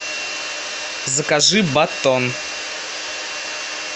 закажи батон